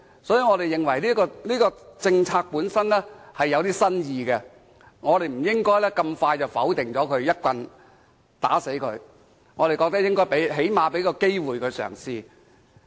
所以，我們認為這項政策本身具新意，不應這麼快便否決它，一棒打死它，我們最少應給它一個嘗試機會。